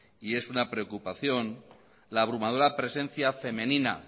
y es una preocupación la abrumadora presencia femenina